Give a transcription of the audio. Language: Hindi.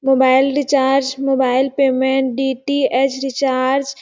mobile recharge mobile payment DTS recharge --